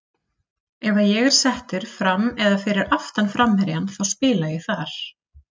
Ef að ég er settur fram eða fyrir aftan framherjann þá spila ég þar.